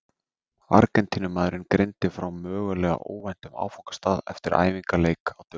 Argentínumaðurinn greindi frá mögulega óvæntum áfangastað eftir æfingaleik á dögunum.